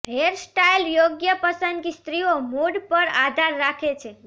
hairstyle યોગ્ય પસંદગી સ્ત્રીઓ મૂડ પર આધાર રાખે છે